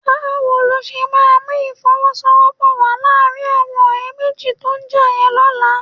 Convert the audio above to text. Báwo ló ṣe máa mú ìfọwọ́sowọ́pọ̀ wà láàrin àwọn ọ̀rẹ́ méjì tó já yẹn lọ́la?